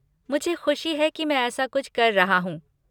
मुझे ख़ुशी है कि मैं ऐसा कुछ कर रहा हूँ।